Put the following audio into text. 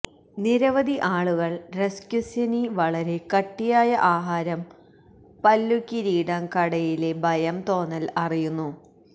നിരവധി ആളുകൾ രസ്കുസ്യ്വനീ വളരെ കട്ടിയായ ആഹാരം ന് പല്ലു കിരീടം കടയിലെ ഭയം തോന്നൽ അറിയുന്നു